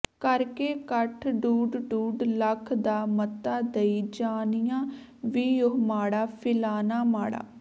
ਕਰਕੇ ਕੱਠ ਡੂਡ ਡੂਡ ਲੱਖ ਦਾ ਮੱਤਾ ਦਈਂ ਜਾਣੀਆ ਵੀ ਓਹ ਮਾੜਾ ਫਿਲਾਨਾ ਮਾੜਾ